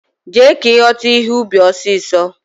Jee! ka ighota ihe ubi osiso!